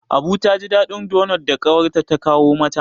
Abu ta ji daɗin donot da ƙawarta ta kawo mata.